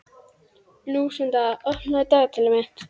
Lúsinda, opnaðu dagatalið mitt.